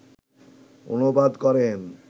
অনুবাদ করেন